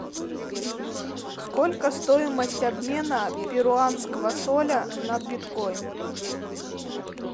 сколько стоимость обмена перуанского соля на биткоин